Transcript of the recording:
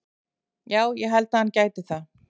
Já ég held að hann gæti það.